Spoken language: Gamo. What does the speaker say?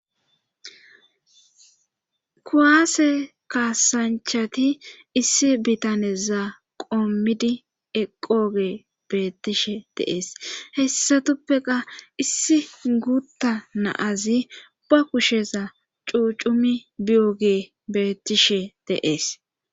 kuwaase kaasanchati issi bitaneza qommidi eqoge beettishe de'ees hessatuppeka issi guutta na'azi ba kusheza cuucumi biyogey bettishe de'ees